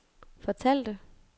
fortalte